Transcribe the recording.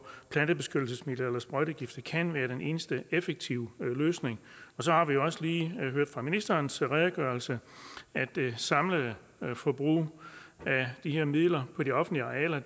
plantebeskyttelsesmidler eller sprøjtegifte kan være den eneste effektive løsning så har vi også lige hørt af ministerens redegørelse at det samlede forbrug af de her midler på de offentlige arealer